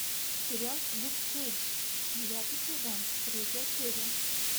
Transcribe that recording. сериал люк кейдж девятый сезон третья серия